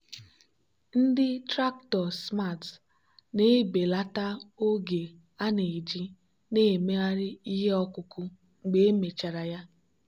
ndị traktọ smart na-ebelata oge a na-eji na-emegharị ihe ọkụkụ mgbe emechara ya.